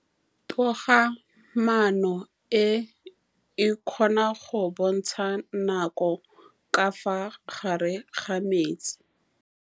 Toga-maanô e, e kgona go bontsha nakô ka fa gare ga metsi.